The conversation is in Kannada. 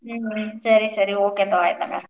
ಸರಿ ಸರಿ okay ಪಾ ಆಯಿತ್ ಹಂಗಾರ.